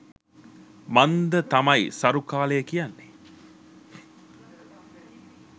මන්ද තමයි සරු කාලය කියන්නෙ.